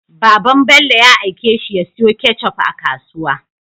Baban Bello ya aike shi ya siyo ketchup a kasuwa